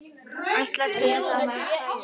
Ætlast til þess að hann hræðist.